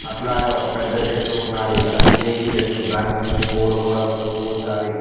అట్లాగే ఒక పెద్ద చెట్టు ఉన్నాది అది టేగు చెట్టు దానికి కొన్ని పువ్వులు కూడా పూసావి.